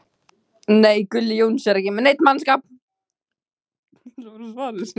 Er Gulli Jóns að ná öllu úr mannskapnum sem hægt er?